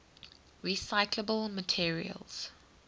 recyclable materials